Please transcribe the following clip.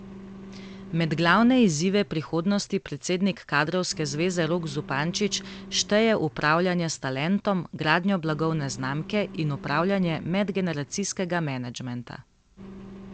Med glavne izzive prihodnosti predsednik kadrovske zveze Rok Zupančič šteje upravljanje s talentom, gradnjo blagovne znamke in upravljanje medgeneracijskega menedžmenta.